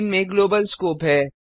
इनमें global scope है